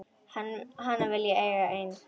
Hana vil ég eiga ein.